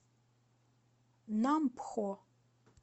нампхо